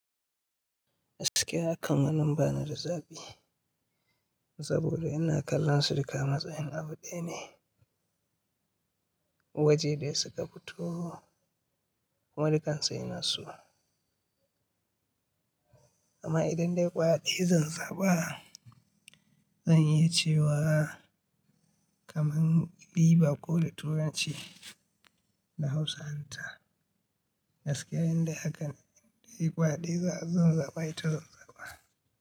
Gaskiya akan wannan ba ni da zabi, saboda ina kallon sirika matsayin abu ɗaya ne waje da suka fito kuma dukan su ina so. Amma idan dai ƙwaya ɗaya zan zaɓa zan yi cewa kaman iiver ko da turanci da Hausa hanta. Gaskiya in dai hakan dai ƙwaya ɗaya zan zaba ita zan zaba.